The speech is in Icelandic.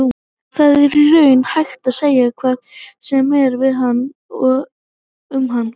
Það er í rauninni hægt að segja hvað sem er við hann og um hann.